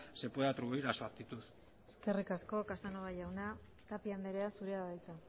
se puede atribuir a su actitud eskerrik asko casanova jauna tapia andrea zurea da hitza